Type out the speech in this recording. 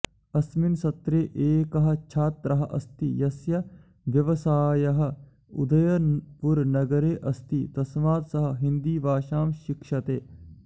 अस्मिन् सत्रे एकः छात्रः अस्ति यस्य व्यवसायः उदयपुरनगरे अस्ति तस्मात् सः हिन्दीभाषां शिक्षते